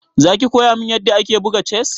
Za ki koya min yadda ake buga chess?